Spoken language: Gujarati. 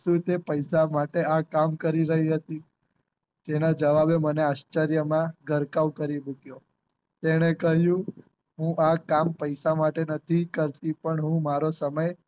શું તે પૈસા માટે આ કામ કરી રહી હતી તેના જવાબે મને આશ્ચર્યમાં ગરકાવ કરી મુક્યો તેને કહ્યું હું આ કામ પૈસા માટે નથી કરતી પણ હું મારો સમય